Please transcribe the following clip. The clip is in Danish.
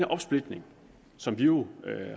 opsplitning som vi jo